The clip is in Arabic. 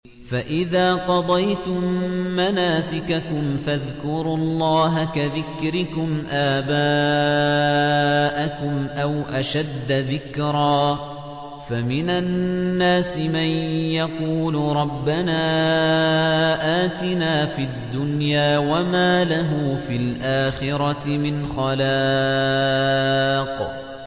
فَإِذَا قَضَيْتُم مَّنَاسِكَكُمْ فَاذْكُرُوا اللَّهَ كَذِكْرِكُمْ آبَاءَكُمْ أَوْ أَشَدَّ ذِكْرًا ۗ فَمِنَ النَّاسِ مَن يَقُولُ رَبَّنَا آتِنَا فِي الدُّنْيَا وَمَا لَهُ فِي الْآخِرَةِ مِنْ خَلَاقٍ